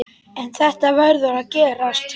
En þetta verður að gerast.